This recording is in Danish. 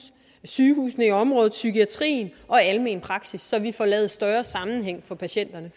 sygehusene i området psykiatrien og den almene praksis så vi får lavet større sammenhæng for patienterne